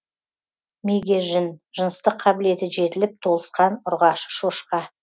мегежін жыныстық қабілеті жетіліп толысқан ұрғашы шошқа